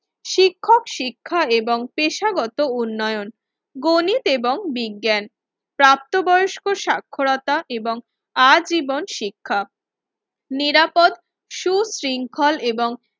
শিক্ষক শিক্ষা এবং পেশাগত উন্নয়ন গণিত এবং বিজ্ঞান প্রাপ্তবয়স্ক সাক্ষরতা এবং আজীবন শিক্ষা নিরাপদ সুশৃঙ্খল এবং